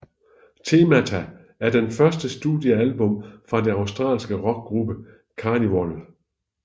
Themata er det første studiealbum fra den australske rockgruppe Karnivool